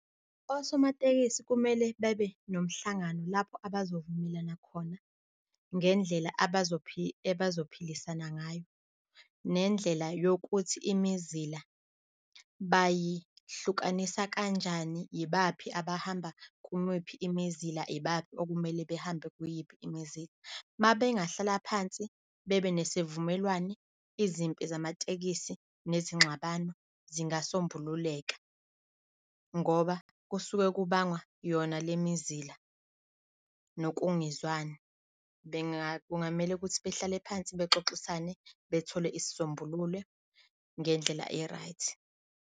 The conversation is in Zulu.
Osomatekisi kumele babe nomhlangano lapho abazovumelana khona ngendlela ebazophilisana ngayo nendlela yokuthi imizila bayihlukanisa kanjani. Yibaphi abahamba kumuphi imizila, Iibaphi okumele behambe kuyiphi imizila. Uma bengahlala phansi bebe nesivumelwane, izimpi zamatekisi nezingxabano zingasombululeka ngoba kusuke kubangwa yona le mizila nokungezwani. Kungamele ukuthi behlale phansi bexoxisane bethole isisombululo ngendlela e-right.